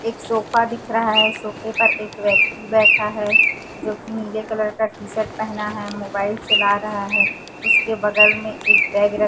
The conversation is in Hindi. एक सोफा दिख रहा है सोफे पर एक व्यक्ति बैठा है जोकि नीले कलर का टी शर्ट पहना है मोबाइल चला रहा है उसके बगल में एक बैग र --